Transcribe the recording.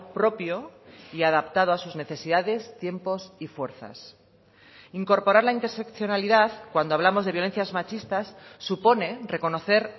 propio y adaptado a sus necesidades tiempos y fuerzas incorporar la interseccionalidad cuando hablamos de violencias machistas supone reconocer